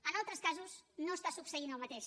en altres casos no està succeint el mateix